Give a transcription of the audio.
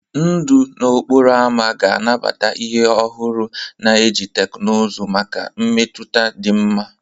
Ndụ n'okporo ámá ga-anabata ihe ọhụrụ na iji teknụzụ maka mmetụta dị mma.